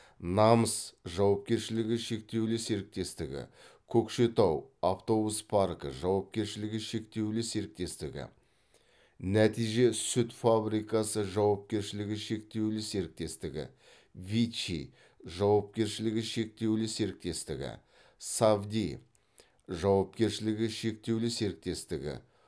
намыс жауапкершілігі шектеулі серіктестігі көкшетау автобус паркі жауапкершілігі шектеулі серіктестігі нәтиже сүт фабрикасы жауапкершілігі шектеулі серіктестігі виччи жауапкершілігі шектеулі серіктестігі сафди жауапкершілігі шектеулі серіктестігі